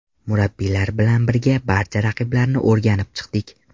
Murabbiylar bilan birga barcha raqiblarni o‘rganib chiqdik.